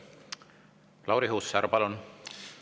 Lauri Hussar, palun!